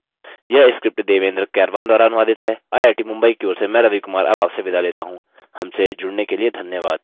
यह स्क्रिप्ट देवेन्द्र कैरवान द्वारा अनुवादित है आई आई टी मुंबई की ओर से मैं रवि कुमार अब आपसे विदा लेता हूँ हमसे जुड़ने के लिए धन्यवाद